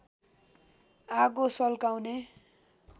आगो सल्काउने